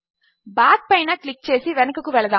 back పైన click చేసి వెనుకకు వెళదాము